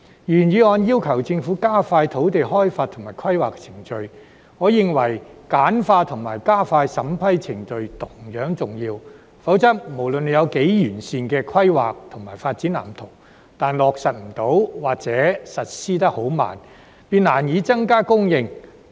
原議案要求政府加快土地開發及規劃程序，而我認為簡化和加快審批程序同樣重要；否則，就算有多完善的規劃及發展藍圖，但落實不到或實施得很慢，便難以增加供應。